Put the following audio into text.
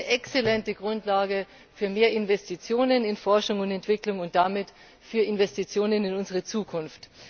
Es ist eine exzellente Grundlage für mehr Investitionen in Forschung und Entwicklung und damit für Investitionen in unsere Zukunft.